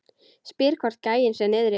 Spyr hvort gæinn sé niðri.